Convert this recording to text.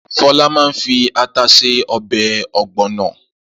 Fọlá máa fi ata se ọbẹ̀ ọ̀gbọ̀nà.